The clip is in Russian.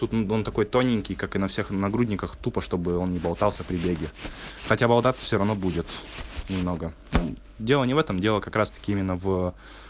он такой тоненький как и на всех на нагрудник тупо чтобы он не болтался при беге хотя болтаться всё равно будет немного ну дело не в этом дело как раз таки именно в